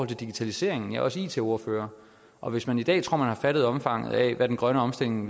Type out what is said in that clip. digitaliseringen jeg er også it ordfører og hvis man i dag tror man har fattet omfanget af hvad den grønne omstilling